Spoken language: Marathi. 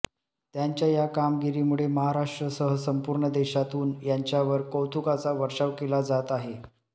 त्यांच्या या कामगिरीमुळे महाराष्ट्रसह संपूर्ण देशातून यांच्यावर कौतूकाचा वर्षाव केला जात आहे